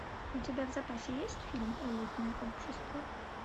у тебя в запасе есть фильм элитное общество